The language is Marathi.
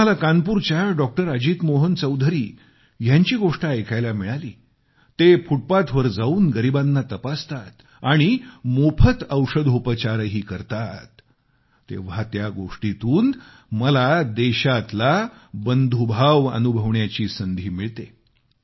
जेव्हा मला कानपूरच्या डॉ अजित मोहन चौधरी यांची गोष्ट ऐकायला मिळाली ते फुटपाथवर जाऊन गरिबांना अन्न देतात आणि मोफत औषधोपचारही करतात तेव्हा त्या गोष्टीतून मला देशातला बंधूभाव अनुभवण्याची संधी मिळते